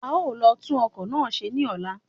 A ó lọ tún ọkọ́ náà ṣe ní ọ̀la